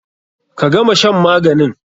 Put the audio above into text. Ka gama shan maganin!